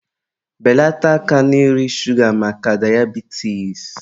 Beleta aka na nri shuga maka dayabitis!